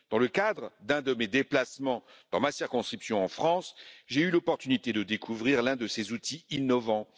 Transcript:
Dans le cadre d'un de mes déplacements, dans ma circonscription en France, j'ai eu l'opportunité de découvrir l'un de ces outils innovants.